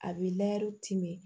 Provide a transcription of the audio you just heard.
A bɛ timin